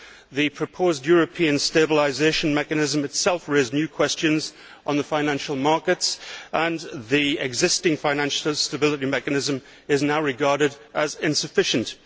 The proposed European stabilisation mechanism itself raised new questions on the financial markets and the existing Financial Stability Mechanism is now regarded as insufficient.